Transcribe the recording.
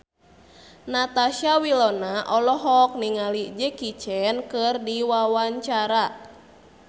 Natasha Wilona olohok ningali Jackie Chan keur diwawancara